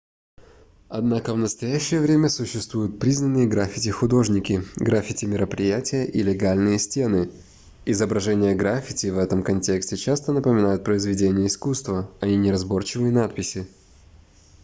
однако в настоящее время существуют признанные граффити-художники граффити-мероприятия и легальные стены изображения граффити в этом контексте часто напоминают произведения искусства а не неразборчивые надписи